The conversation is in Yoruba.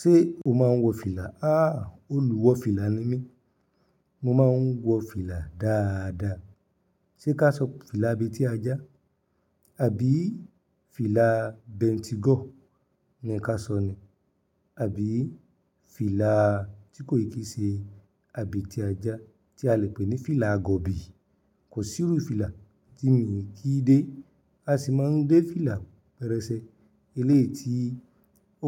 Ṣé o máa ń wọ fìlà? Aàh! Olùwọ fìlà ni mí. Mo máa ń wọ fìlà dáadáa. Sé ká sọ fìlà abetíajá, àbí fìlà bentigo ni ká sọ ni? Àbí fìlà tí kò yí kii ṣe abetíajá tí a lè pè ní fìlà agọ̀bi. Kò sí irú fìlà tí mi ò kí dé. A sì máa ń dé fìlà pẹrẹsẹ, eléyi ti,